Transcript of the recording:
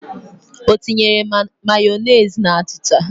O tinyere Mayọnesị na achịcha?